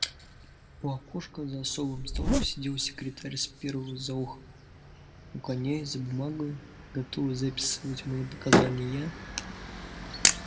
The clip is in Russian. у окошка за особым столом сидел секретарь с пером за ухом наклоняясь за бумагою готовый записывать мои показания